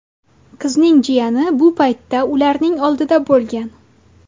Qizning jiyani bu paytda ularning oldida bo‘lgan.